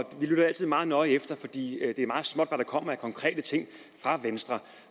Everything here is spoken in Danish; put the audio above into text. og vi lytter altid meget nøje efter fordi det er meget småt hvad der kommer af konkrete ting fra venstre